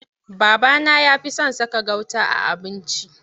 Babana ya fi son saka gauta a abinci.